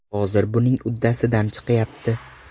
Hozir buning uddasidan chiqyapti.